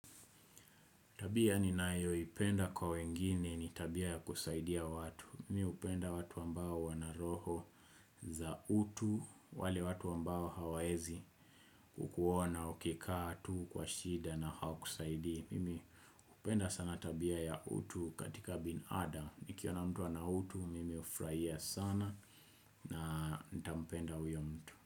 Tabia ninayo ipenda kwa wengine ni tabia ya kusaidia watu Mimi hupenda watu ambao wana roho za utu wale watu ambao hawaezi kukuona ukikaa tu kwa shida na hawakusaidii Mimi upenda sana tabia ya utu katika binadam Nikiona mtu ana utu mimi ufurahia sana na nitampenda uyo mtu.